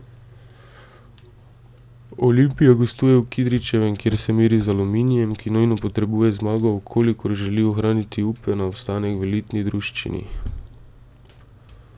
Olimpija gostuje v Kidričevem, kjer se meri z Aluminijem, ki nujno potrebuje zmago, v kolikor želi ohraniti upe na obstanek v elitni druščini.